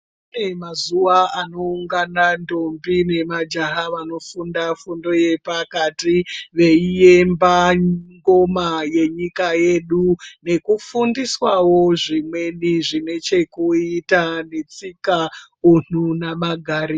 Pane mazuwa anoungana ntombi nemajaha vanofunda fundo yepakati veiemba ngoma yenyika yedu ngekufundiswawo zvimweni zvine chekuita netsika, unhu namagariro.